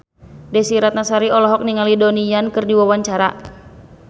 Desy Ratnasari olohok ningali Donnie Yan keur diwawancara